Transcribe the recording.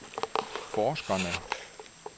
forskerne